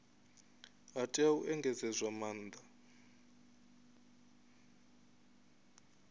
ha tea u engedzedzwa maanda